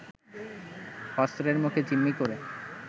অস্ত্রের মুখে জিম্মি করে